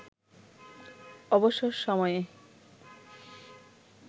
অবসর সময়ে